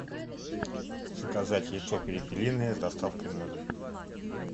заказать яйцо перепелиное с доставкой на дом